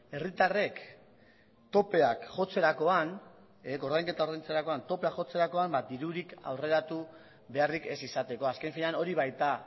herritarrek koordainketa ordaintzerakoan topea jotzerakoan dirurik aurreratu beharrik ez izateko azken finean hori baita